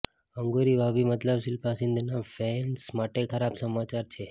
અંગુરી ભાભી મતલબ શિલ્પા શિંદેના ફેંસ માટે ખરાબ સમાચાર છે